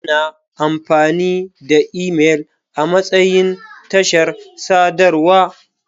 Ana amfani da imel amatsayin tashar sadarwa.